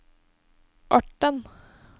Orten